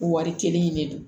O wari kelen in de don